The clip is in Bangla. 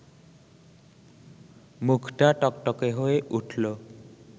মুখটা টকটকে হয়ে উঠল